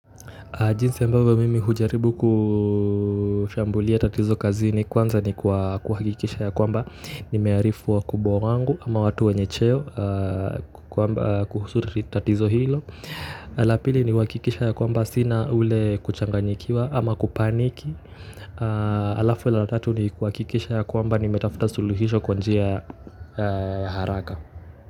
Jinsi ambavyo mimi hujaribu kushambulia tatizo kazini kwanza ni kwa kuhakikisha yakwamba nimearifu wakubwa wangu ama watu wenye cheo kuhusu tatizo hilo. La pili ni uhakikishe yakwamba sina ule kuchanganyikiwa ama kupanic alafu la tatu ni kuhakikisha ya kwamba nimetafuta suluhisho kwa njia haraka.